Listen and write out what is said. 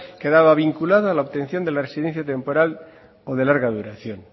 quedaba vinculado a la obtención de la residencia temporal o de larga duración